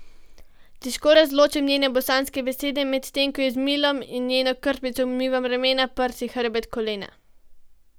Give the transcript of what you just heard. Težko razločim njene bosanske besede, medtem ko ji z milom in njeno krpico umivam ramena, prsi, hrbet, kolena.